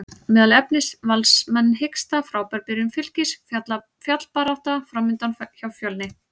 Meðal efnis: Valsmenn hiksta, Frábær byrjun Fylkis, fallbarátta framundan hjá Fjölni?